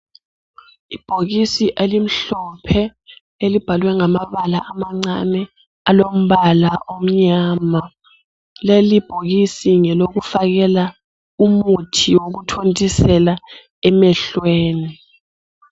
Ibhokisi elimhlophe elibhalwe ngamabala amancane alombala omnyama. Lelibhokisi ngelokufakela umuthi wokuthontisela emehlweni.